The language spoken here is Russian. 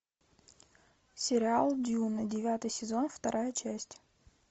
сериал дюна девятый сезон вторая часть